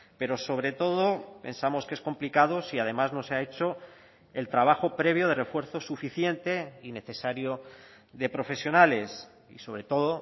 pero sobre todo pensamos que es complicado si además no se ha hecho el trabajo previo de refuerzo suficiente y necesario de profesionales y sobre todo o